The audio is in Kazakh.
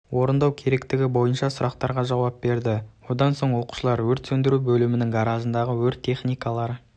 орындау керектігі бойынша сұрақтарға жауап берді одан соң оқушылар өрт сөндіру бөлімінің гаражындағы өрт техникалары